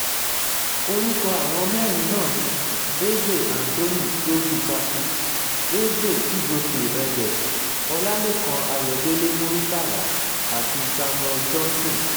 orúkọ àwọn mẹ́rin náà ni eze anthony sovuchakwu eze chijioke edeh ọlálẹ́kan ayọ̀dẹ̀lẹ̀ muritàlá àti samuel johnson